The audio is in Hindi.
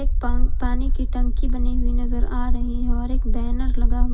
एक पा पानी की टंकी बनी हुई नजर आ रही है और एक बैनर लगा हुआ --